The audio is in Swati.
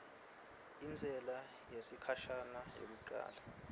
intsela yesikhashana yekucala